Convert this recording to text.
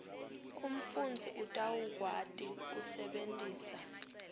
umfundzi utawukwati kusebentisa